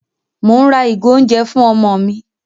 Mò ń ra ìgò oúnjẹ fún ọmọ mi.